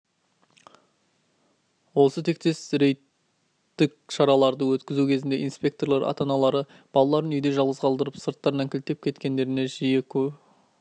осы тектес рейдтік шараларды өткізу кезінде инспекторлар ата-аналары баларын үйде жалғыз қалдырып сырттарынан кілтеп кеткендеріне жиі